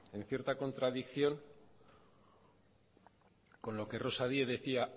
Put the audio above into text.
en cierta contradicción con lo que rosa díez decía